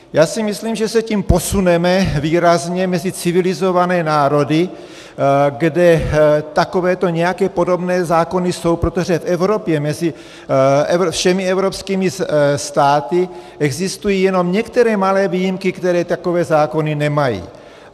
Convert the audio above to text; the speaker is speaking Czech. Já si myslím, že se tím posuneme výrazně mezi civilizované národy, kde takovéto nějaké podobné zákony jsou, protože v Evropě mezi všemi evropskými státy existují jenom některé malé výjimky, které takové zákony nemají.